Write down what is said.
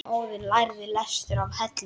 Óðinn lærði lestur að Hellum.